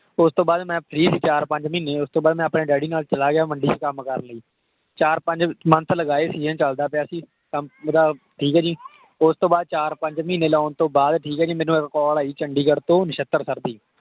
ਓਸ ਤੋਂ ਬਾਅਦ ਮੈਂ free ਸੀ ਚਾਰ ਪੰਜ ਮਹੀਨੇ। ਓਸ ਤੋਂ ਬਾਅਦ ਮੈਂ ਅਪਨੇ ਡੈਡੀ ਨਾਲ ਚਲਾ ਗਿਆ ਮੰਡੀ ਵਿਚ ਕੰਮ ਕਰਨ ਲਈ। ਚਾਰ ਪੰਜ month ਲਗਾਏ, season ਚਲਦਾ ਪਿਆ ਸੀ। ਮੇਰਾ ਠੀਕ ਆ ਜੀ। ਓਸ ਤੋਂ ਬਾਅਦ ਚਾਰ ਪੰਜ ਮਹੀਨੇ ਲਾਉਣ ਤੋਂ ਬਾਅਦ ਠੀਕ ਆ ਜੀ, ਮੈਨੂੰ ਇੱਕ call ਆਈ ਚੰਡੀਗੜ੍ਹ ਤੋਂ ਨਸ਼ਤਰ sir ਦੀ।